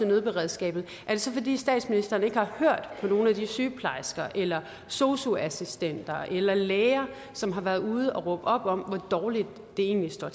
nødberedskab er det så fordi statsministeren ikke har hørt på nogen af de sygeplejersker eller sosu assistenter eller læger som har været ude at råbe op om hvor dårligt det egentlig står